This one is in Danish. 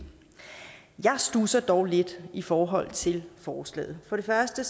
jeg studsede dog lidt i forhold til forslaget for det første